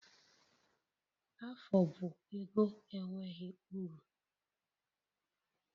Afụ bụ ego enweghị uru